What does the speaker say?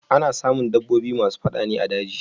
Ana samun dabbobi masu fada ne a daji.